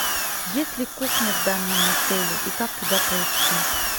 есть ли кухня в данном отеле и как туда пройти